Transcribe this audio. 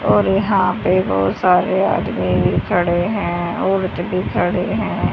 और यहां पे बहुत सारे आदमी भी खड़े हैं औरत भी खड़े हैं।